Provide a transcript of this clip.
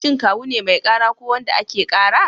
Shin Kawu ne mai ƙara ko wanda ake ƙara?